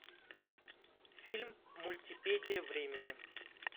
фильм мультипедия времени